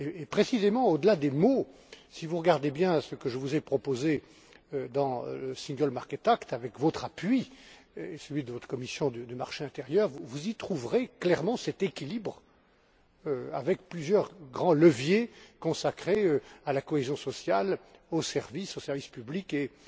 Et précisément, au delà des mots, si vous regardez bien ce que je vous ai proposé dans l'Acte pour le marché unique, avec votre appui et celui de votre commission du marché intérieur, vous y trouverez clairement cet équilibre avec plusieurs grands leviers consacrés à la cohésion sociale, aux services, aux services publics